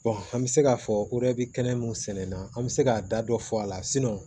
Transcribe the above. an bɛ se k'a fɔ kɛnɛ mun sɛnɛ na an bɛ se k'a da dɔ fɔ a la